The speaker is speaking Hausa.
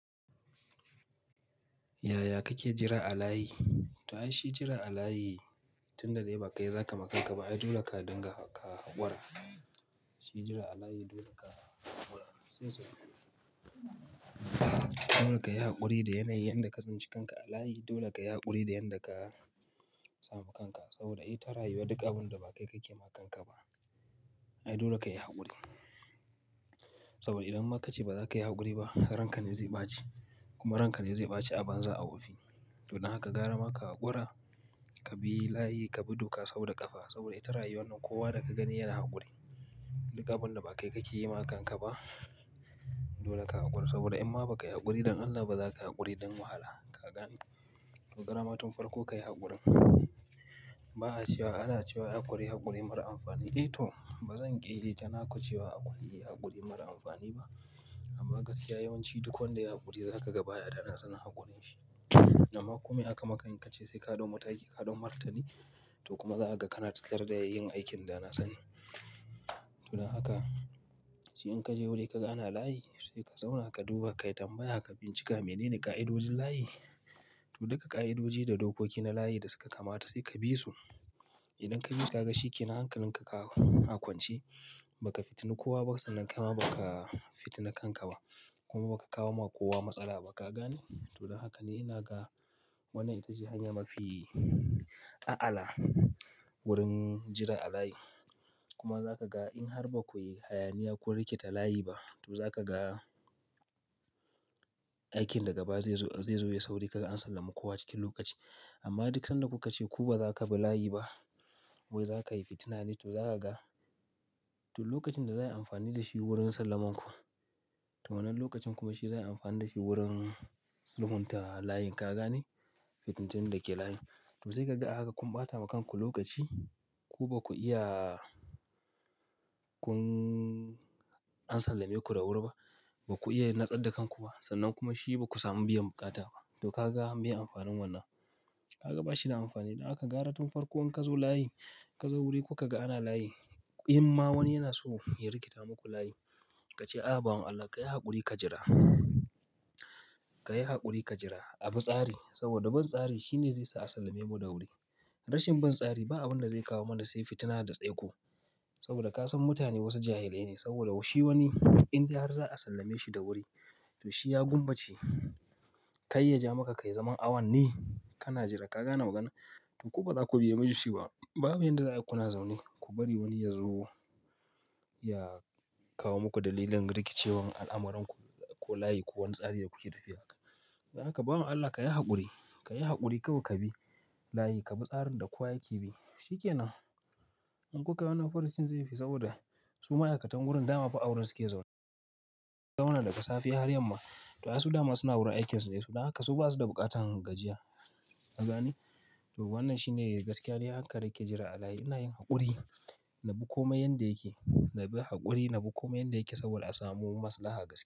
Yaya kake jira a layi? To ai shi jira a layi tunda dai ba kai zaka ma kanka ba, ai dole ka dinga ka haƙura. Shi jira a layi dole ka haƙura. Dole ka yi haƙuri da yanayin yanda ka tsinci kanka a layi. Dole ka yi haƙuri da yanda ka samu kanka. Saboda ita rayuwa duk abin da ba kai kake ma kanka ba, ai dole ka yi haƙuri. Saboda idan maka ce ba za ka yi haƙuri ba, ranka ne zai ɓaci kuma ranka ne zai ɓaci abanza a wofi. Don haka gara ma ka haƙura, ka bi layi, ka bi duka sauda ƙafa. Saboda ita rayuwan nan kowa da ka gani yana haƙuri. Duk abin da ba kai kake yi ma kanka ba, dole ka haƙura. Saboda in ma ba ka yi haƙuri don Allah ba za ka haƙuri don wahala. Ka gane? To garama tun farko ka yi haƙurin. Ba'a cewa, ana cewa haƙuri haƙuri mara amfani. Eh to, ba zan ƙi yi tanaku cewa haƙuri haƙuri mara amfani ba. Amma gaskiya yawanci duk wanda ya haƙuri, za ka ga baya danasanin haƙurin shi. Amma ko mai aka maka, in ka ce sai ka ɗau mataki, ka ɗau martani. To kuma zaha ga kana tattare da yin aikin danasani. Don haka, shi in ka je wuri ka ga ana layi, sai ka zauna ka duba, kai tambaya, ka bincika menene ƙa'idojin layi. To duka ƙa'idoji da dokoki na layi da suka kamata sai ka bi su. Idan ka bi su, ka ga shikenan hankalin ka a akwance, ba ka fitini kowa ba, sannan kaima ba ka fitini kanka ba. Kuma ba ka kawo ma kowa matsala ba. Ka gane? To don haka ne ina ga wannan ita ce hanya mafi a'ala wurin jira a layi. Kuma zaka ga in har ba ku yi hayaniya kun rikita layi ba, to zaka ga aikin daga baya zai zo, zai zo yai sauri. Kaga an sallami kowa cikin lokaci. Amma duk sanda kuka ce ku ba za ku bi layi ba, wai za kai fitina ne, to zaka ga to lokacin da zai yi amfani da shi wurin sallaman ku, to wannan lokacin kuma shi za'ayi amfani da shi wurin zumunta layin. Ka gane? Fitintinun da ke layin. To sai kaga ahaka kun ɓata ma kanku lokaci. Ku ba ku iya kun an sallame ku da wuri ba. Ba ku iya natsadda kanku ba. Sannan kuma shi ba ku samu biyan bukata ba. To ka ga meye amfanin wannan. Ka ga ba shi da amfani. Don haka gara tun farko in ka zo layi, ka zo wuri kuka ga ana layi, in ma wani yana so ya rikita muku layi, ka ce, A'a bawan Allah ka yi haƙuri ka jira. Ka yi haƙuri ka jira. A bi tsari saboda bin tsari shine zai sa a sallame mu da wuri. Rashin bin tsari ba abin da zai kawo mana sai fitina da tsaiko. Saboda ka san mutane wasu jahilai ne. Saboda shi wani indai har za a sallame shi da wuri, to shi ya gummace, Kai ya ja maka kai zaman awanni, Kana jira. Ka gane magana? To ku ba za ku biye mi shi ba. Babu yanda za'ayi ku na zaune. Ku bari wani ya zo ya kawo muku dalilin rikicewan al'amuranku ko layi ko wani tsari da kuke tafiya. Don haka bawan Allah ka yi haƙuri, ka yi haƙuri kawai ka bi layi, Ka bi tsarin da kowa yake bi. Shi ke nan. In kuka ga wai furucin zai fi saboda su ma'aikatan wurin dama fa a wurin su ke zaune. Zauna daga safe har yamma. To ai su dama suna wurin aikinsu ne. Don haka su ba su da buƙatan gajiya. Ka gane? To wannan shine gaskiya ne. Haka da nake jira a layi. Ina yin haƙuri na bi komai yanda yake. Na bi haƙuri na bi komai yanda yake saboda a samu maslaha gaskiya.